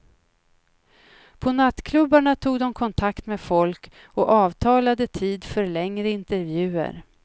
På nattklubbarna tog de kontakt med folk och avtalade tid för längre intervjuer.